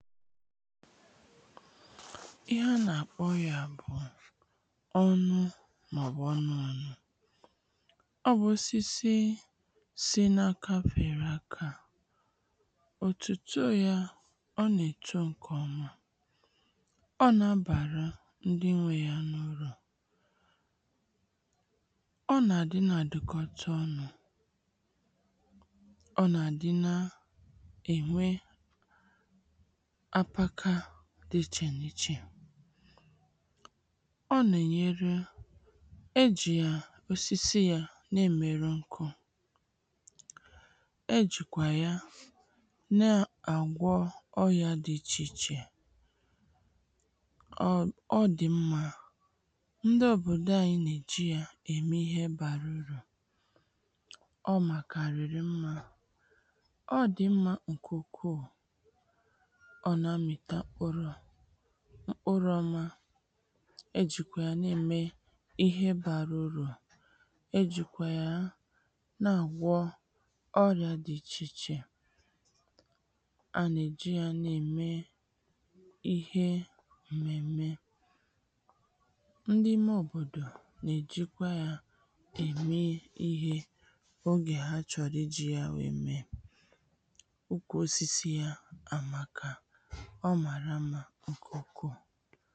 ihe a nà-àkpọ yā bụ̀ ọnụ Mmàọ̀bụ̀ ọnụànị ọ bụ osisi si n’aka fère akā òtòtoo ȳa ọ ọ nà-eto ṅ̀kè ọma ọ nà-abàra ndị nwē yā n’urù ọ nà-àdị na àdụkọcha ọnụ̄ ọ nà-àdị na ènwe apaka dị ichè nà ichè ọ nà-ènyere e jì yà osisi yā na-èmerụ ṅkụ̄ e jìkwà ya na-àgwọ ọyà dị ichè ichè ọ ọ dị̀ mmā ndị òbòdo ayị nà-èji yā ème ihe bārā urù ọ màkàrị̀rị̀ mmā ọ dị mmā ṅ̀kè ukwuù ọ nà-amị̀ta mkpụrụ mkpụrụ̄ ọma e jìkwà yà na-ème ihe bārā urù e jìkwà ya na-àgwọ ọrị̀a dị̄ ichè ichè a nà-ejì yā na-ème ihe m̀mèm̀me ndị ime òbòdò nà-èjikwa yā ème ihē ogè ha chọrọ ijī yā wèe mee ukwù osisi yā àmaka ọ màrà mmā ṅ̀kè ukwuù